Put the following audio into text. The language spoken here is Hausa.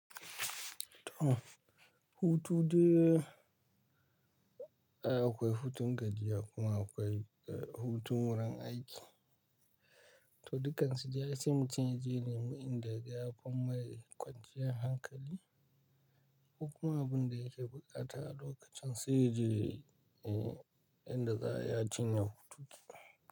To, hutu dai akwai hutun gajiya kuma akwai eh hutun wurin aiki. To, dukansu dai ai sai mutum yaje nemi inda yaga ya fi mai kwanciyar hankali. Kokuma abun da yake buƙata a lokacin sai yaje yayi, eh yanda za'a yi a cinye hutunsa.